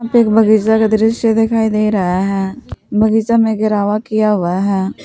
एक बगीचा का दृश्य दिखाई दे रहा है बगीचा में घेरावा किया हुआ है।